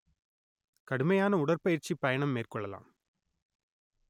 கடுமையான உடற்பயிற்சி பயணம் மேற்கொள்ளலாம்